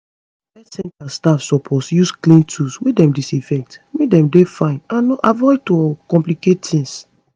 health center staff suppose use clean tools wey dem disinfect make dem dey fine and avoid to complicate tings